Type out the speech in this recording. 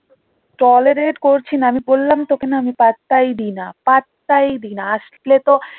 tolerate করছি না আমি বললাম তো ওকে না আমি পাত্তাই দি না পাত্তাই দি না আসলে তো